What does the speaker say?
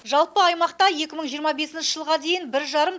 жалпы аймақта екі мың жиырма бесінші жылға дейін бір жарым